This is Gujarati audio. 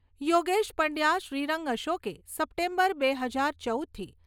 યોગેશ પંડ્યા શ્રીરંગ અશોકે સપ્ટેબર બે હાજર ચૌદથી